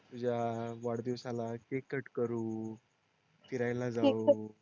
तुझ्या वाढदिवसाला cake cut करू फिरायला जाऊ